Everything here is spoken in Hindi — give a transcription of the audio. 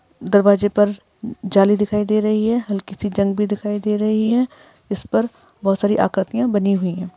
दरवाजे पर जाली दिखाई दे रही है। हल्की सी जंग भी दिखाई दे रही हैं। इस पर बहुत सारी आकृतियाँ बनी हुई है।